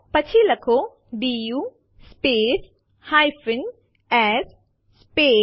પછી લખો DU space s space